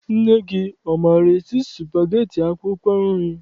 Nne gị, ọ maara esi spageti akwụkwọ nri?